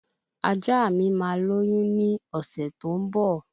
Ajá mi máa lóyún ní ọ̀sẹ̀ tó ń bọ̀